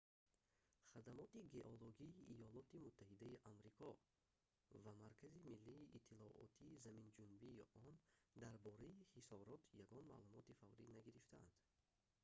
хадамоти геологии иёлоти муттаҳидаи амрико хгима ва маркази миллии иттилоотии заминҷунбии он дар бораи хисорот ягон маълумоти фаврӣ нагирифтаанд